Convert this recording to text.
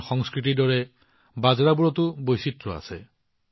আমাৰ সংস্কৃতিৰ দৰে বাজৰাবোৰতো যথেষ্ট বৈচিত্ৰতা আছে